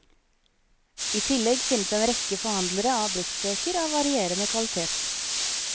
I tillegg finnes en rekke forhandlere av bruktbøker av varierende kvalitet.